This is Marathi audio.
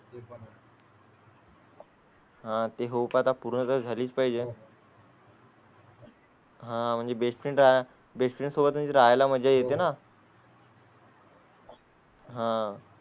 हाते होप आता पूर्ण झालीच पाहिजे. हां म्हणजे best friend best friend सोबत राहाय ला मजा येते ना? हां